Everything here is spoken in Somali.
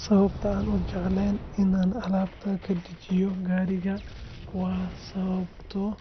Sababta aanan u jeclayn in aan alaabta ka dejiyo gaariga waa sababtoo